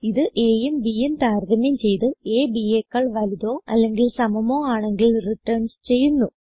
ഇത് a യും b യും താരതമ്യം ചെയ്ത് അ bയെക്കാൾ വലുതോ അല്ലെങ്കിൽ സമമോ ആണെങ്കിൽ റിട്ടർൻസ് ചെയ്യുന്നു